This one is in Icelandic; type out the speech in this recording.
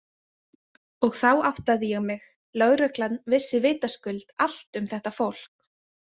Og þá áttaði ég mig: Lögreglan vissi vitaskuld allt um þetta fólk.